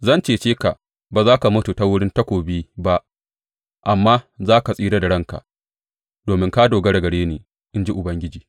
Zan cece ka; ba za ka mutu ta wurin takobi ba amma za ka tsira da ranka, domin ka dogara gare ni, in ji Ubangiji.